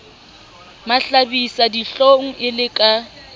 mahlabisa dihlong e le ka